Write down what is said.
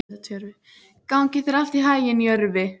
Gangi þér allt í haginn, Jörvi.